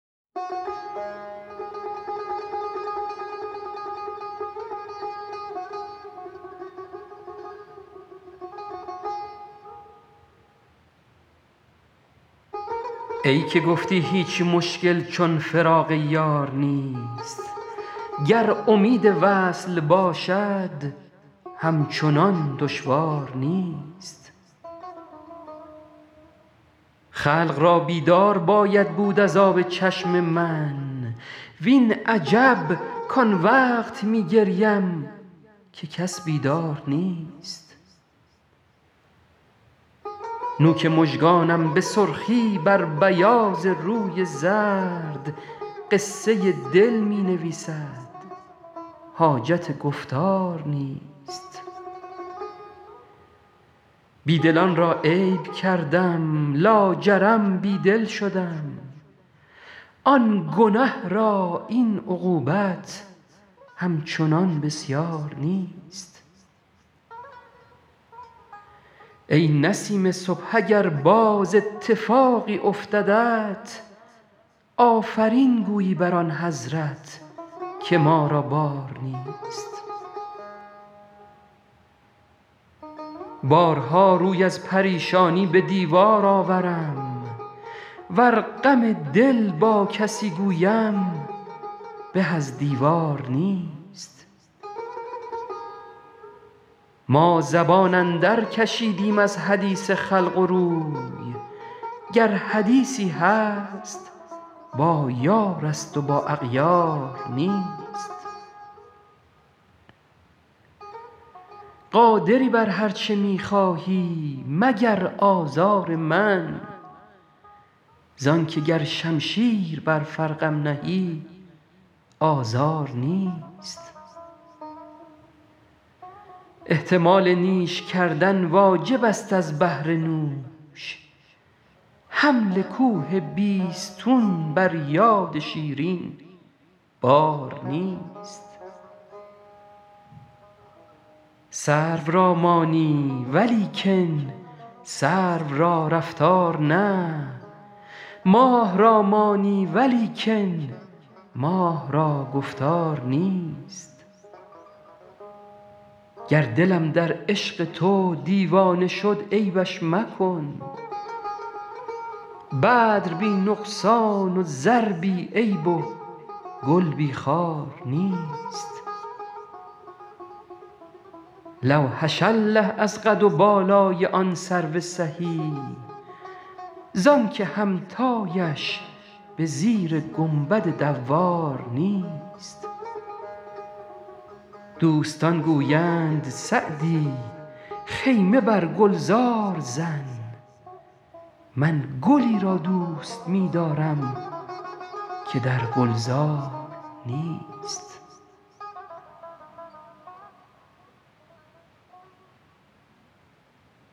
ای که گفتی هیچ مشکل چون فراق یار نیست گر امید وصل باشد همچنان دشوار نیست خلق را بیدار باید بود از آب چشم من وین عجب کان وقت می گریم که کس بیدار نیست نوک مژگانم به سرخی بر بیاض روی زرد قصه دل می نویسد حاجت گفتار نیست بی دلان را عیب کردم لاجرم بی دل شدم آن گنه را این عقوبت همچنان بسیار نیست ای نسیم صبح اگر باز اتفاقی افتدت آفرین گویی بر آن حضرت که ما را بار نیست بارها روی از پریشانی به دیوار آورم ور غم دل با کسی گویم به از دیوار نیست ما زبان اندرکشیدیم از حدیث خلق و روی گر حدیثی هست با یارست و با اغیار نیست قادری بر هر چه می خواهی مگر آزار من زان که گر شمشیر بر فرقم نهی آزار نیست احتمال نیش کردن واجبست از بهر نوش حمل کوه بیستون بر یاد شیرین بار نیست سرو را مانی ولیکن سرو را رفتار نه ماه را مانی ولیکن ماه را گفتار نیست گر دلم در عشق تو دیوانه شد عیبش مکن بدر بی نقصان و زر بی عیب و گل بی خار نیست لوحش الله از قد و بالای آن سرو سهی زان که همتایش به زیر گنبد دوار نیست دوستان گویند سعدی خیمه بر گلزار زن من گلی را دوست می دارم که در گلزار نیست